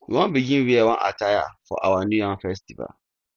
we wan begin wear one attire for our new yam festival